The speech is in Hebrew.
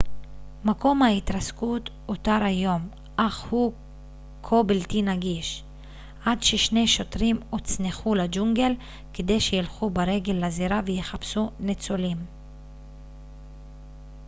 מקום ההתרסקות אותר היום אך הוא כה בלתי נגיש עד ששני שוטרים הוצנחו לג'ונגל כדי שילכו ברגל לזירה ויחפשו ניצולים